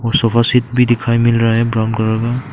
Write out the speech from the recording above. sofa set भी दिखाई मिल रहा है ब्राउन कलर का--